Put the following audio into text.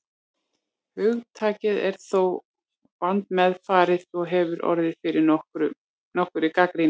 Hugtakið er þó vandmeðfarið og hefur orðið fyrir nokkurri gagnrýni.